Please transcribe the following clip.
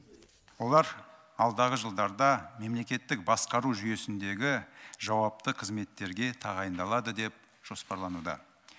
олар алдағы жылдарда мемлекеттік басқару жүйесіндегі жауапты қызметтерге тағайындалады деп жоспарлануда